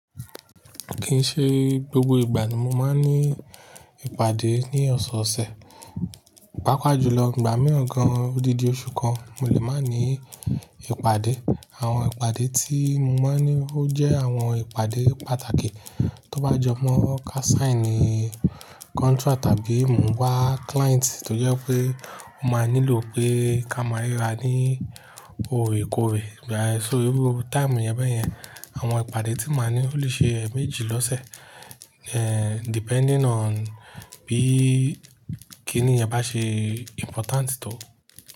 Kìí ṣe gbogbo ìgbà ni mo máa ń ní ìpàdé ní ọ̀sọ̀ọ̀sẹ̀. Pápá jù lọ, ìgbà mìíràn gan-an, odidi oṣù kan mo lè máa ní ìpàdé. Àwọn ìpàdé tí mo máa ń ní ó jẹ́ àwọn ìpàdé pàtàkì. Tó bá jọ mọ́ ká sign contract tàbí mo ń wá client tó jẹ́ pé ó máa nílò pé ká máa ríra ní òrèkóòrè. Ìgbà èso irú gbogbo time yẹn bẹ́yẹn. Àwọn ìpàdé tí màá ní ó lè ṣe ẹ̀ẹ̀méjì lọ́sẹ̀. Ẹẹ̀, depending on bí kiní yẹn bá ṣe important tó.